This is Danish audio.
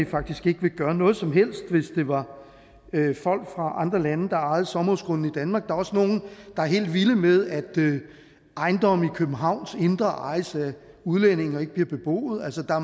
faktisk ikke ville gøre noget som helst hvis det var folk fra andre lande der ejede sommerhusgrunde i danmark er også nogle der er helt vilde med at ejendomme i københavns indre by ejes af udlændinge og ikke bliver beboet altså